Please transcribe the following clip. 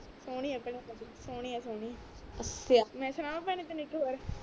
ਸਹੋਣੀ ਆ ਭੈਣੇ ਸਹੋਣੀ ਆ ਸਹੋਣੀ ਅੱਛਾ ਮੈਂ ਸੁਣਾਵਾਂ ਭੈਣੇ ਤੈਨੂੰ ਇਕ ਔਰ